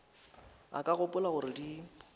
o ka gopola gore di